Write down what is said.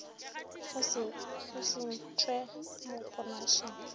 o se ntšhwe mo ponašeng